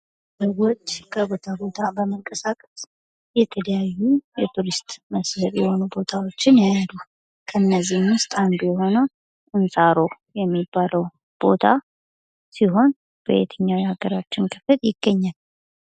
ሰዎች ከቦታ ቦታ በመንቀሳቀስ የተለያዩ የቱሪስት መስህብ የሆኑ ቦታዎችን ያያሉ፤ ከነዚህም ዉስጥ አንዱ የሆነው እንሳሮ የሚባለው ቦታ ሲሆን በየትኛው የሃገራችን ክፍል ይገኛል?